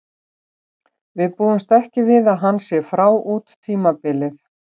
Við búumst ekki við að hann sé frá út tímabilið.